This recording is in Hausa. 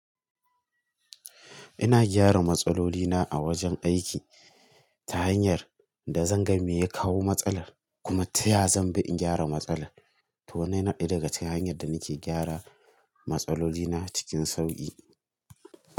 Ina gyara matsalolina a wajen aiki ta hanyar da zan ga me ya kawo matsalar kuma ta ya zan bi in gyara matsalar. To wannan yana ɗaya daga cikin hanyar da nake gyara matsaloli na cikin sauƙi.